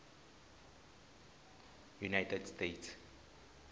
united states